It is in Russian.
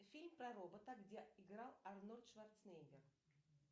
фильм про робота где играл арнольд шварценеггер